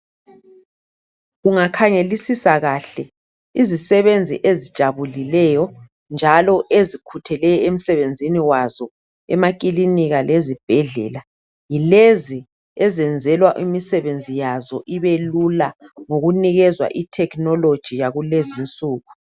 Ungakhangelisisa kahle izisebenzi ezijabulileyo njalo ezikhutheleyo emsebenzini wazo emakilinika lezibhedlela yilezi ezenzelwa imisebenzi yazo ibelula ngokunikezwa ithekhinoloji yakulezinsuku.